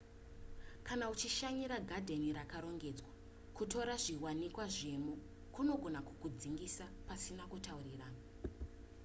kana uchishanyira gadheni rakarongedzwa kutora zviwanikwa zvemo kunogona kukudzingisa pasina kutaurirana